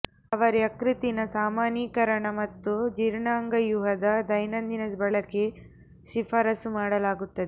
ಅವರು ಯಕೃತ್ತಿನ ಸಾಮಾನ್ಯೀಕರಣ ಮತ್ತು ಜೀರ್ಣಾಂಗವ್ಯೂಹದ ದೈನಂದಿನ ಬಳಕೆ ಶಿಫಾರಸು ಮಾಡಲಾಗುತ್ತದೆ